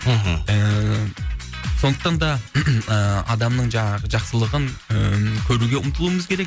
мхм ыыы сондықтан да адамның жаңағы жақсылығын ы көруге ұмтылуымыз керек